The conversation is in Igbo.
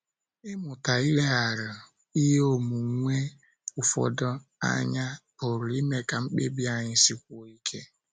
Ịmụta ileghara ihe onwunwe ụfọdụ anya pụrụ ime ka mkpebi anyị sikwuo ike.